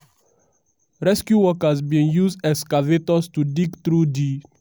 rescue workers volunteers and emergency officials rush to di scene and help rescue dose wey bin dey under di rubble.